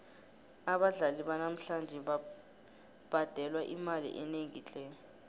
abadlali banamhlanje babhadelwa imali enengi tle